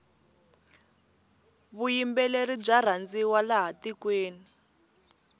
vuyimbeleri bya rhandziwa laha tikweni